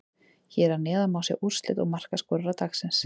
Hér að neðan má sjá úrslit og markaskorara dagsins: